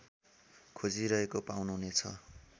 खोजिरहेको पाउनुहुनेछ